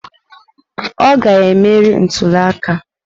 Ọ ga-emeri ntuli aka.